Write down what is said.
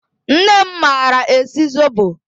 Nne m maara esi zobo